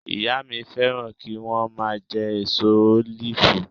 Ìyá mi fẹ́ràn kí wọ́n máa jẹ èso ólífù